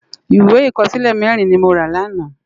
Iwé ikòsilé mèrin ni mó rá làná